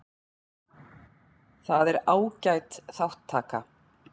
Það er ágæt þátttaka